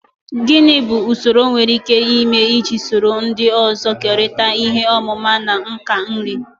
Gini bu usoro enwere ike ịme iji soro ndị ọzọ kerịta ihe ọmụma na nka nri?